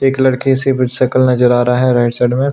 एक लड़की सिर्फ सकल नजर आ रहा है राइट साइड में--